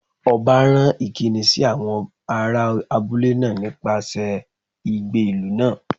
Ọba rán ìkíni sí àwọn ará abúlé náà nípasẹ̀ igbe ìlú náà